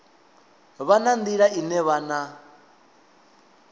vha na nḓila ine vhana